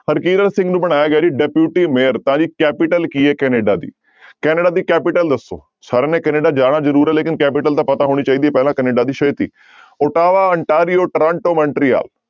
ਹਰਕੀਰਤ ਸਿੰਘ ਨੂੰ ਬਣਾਇਆ ਗਿਆ ਜੀ deputy mayor ਤਾਂ ਜੀ capital ਕੀ ਹੈ ਕੈਨੇਡਾ ਦੀ ਕੈਨੇਡਾ ਦੀ capital ਦੱਸੋ ਸਾਰਿਆਂ ਨੇ ਕੈਨੇਡਾ ਜਾਣਾ ਜ਼ਰੂਰ ਹੈ ਲੇਕਿੰਨ capital ਤਾਂ ਪਤਾ ਹੋਣੀ ਚਾਹੀਦੀ ਹੈ ਪਹਿਲਾਂ ਕੈਨੇਡਾ ਦੀ ਛੇਤੀ ਓਟਾਵਾ, ਅੰਟਾਰੀਓ, ਟਰਾਂਟੋ, ਮੈਨਟਰੀਆ।